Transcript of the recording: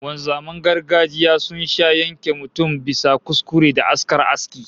Wanzaman gargajiya sun sha yanke mutum bisa kuskure da askar aski